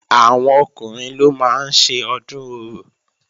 Àwọn Ọkùnrin ló máa ń ṣe Ọdún Orò